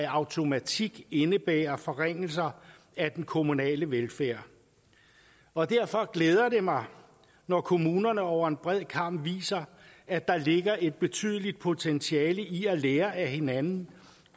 automatik indebære forringelser af den kommunale velfærd og derfor glæder det mig når kommunerne over en bred kam viser at der ligger et betydeligt potentiale i at lære af hinanden